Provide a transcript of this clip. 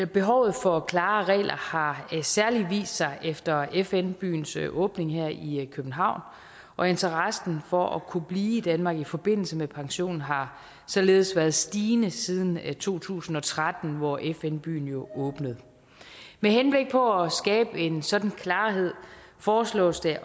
behovet for klare regler har særlig vist sig efter fn byens åbning her i københavn og interessen for at kunne blive i danmark i forbindelse med pension har således været stigende siden to tusind og tretten hvor fn byen jo åbnede med henblik på at skabe en sådan klarhed foreslås det